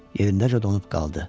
Yerindəcə donub qaldı.